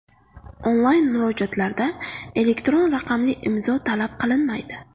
Onlayn murojaatlarda elektron raqamli imzo talab qilinmaydi.